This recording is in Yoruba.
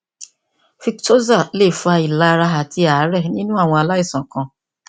victoza lè fa ìlara àti àárẹ nínú àwọn aláìsàn kan